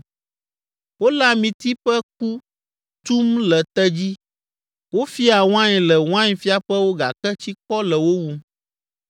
Wole amiti ƒe ku tum le te dzi, wofiaa wain le wainfiaƒewo gake tsikɔ le wo wum.